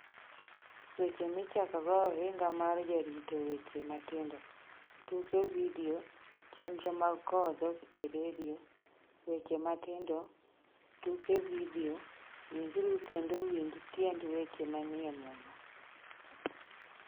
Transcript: Weche Michakogo Ohinga mar Jarito Weche Matindo Tuke Vidio Chenro mag Kowo Dhok e redio Weche Matindo Tuke Vidio Winjuru Kendo Uwinj Tiend Weche Manie Muma